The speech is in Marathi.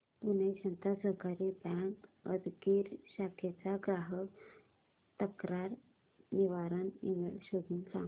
पुणे जनता सहकारी बँक उदगीर शाखेचा ग्राहक तक्रार निवारण ईमेल शोधून सांग